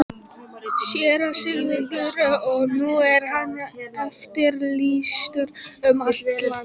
SÉRA SIGURÐUR: Og nú er hann eftirlýstur um allt land!